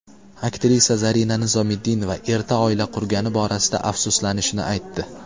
Aktrisa Zarina Nizomiddinova erta oila qurgani borasida afsuslanishini aytdi.